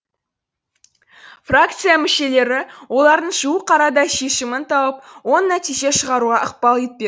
фракция мүшелері олардың жуық арада шешімін тауып оң нәтиже шығаруға ықпал етпек